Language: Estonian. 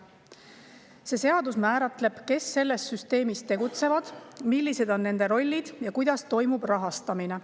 See seadus määratleb, kes selles süsteemis tegutsevad, millised on nende rollid ja kuidas toimub rahastamine.